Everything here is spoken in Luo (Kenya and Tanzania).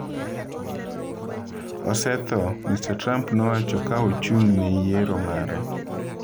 "Osetho," Mr. Trump nowacho, ka ochung' ne yiero mare.